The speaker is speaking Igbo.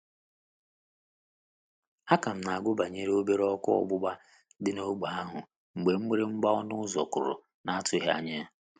A ka m na-agụ banyere obere ọkụ ọgbụgba dị n'ógbè ahụ mgbe mgbịrịgba ọnu ụzọ kụrụ na atughi anya ya